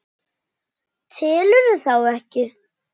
Telurðu þá ekki?